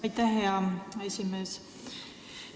Aitäh, hea esimees!